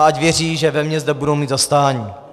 A ať věří, že ve mně zde budou mít zastání.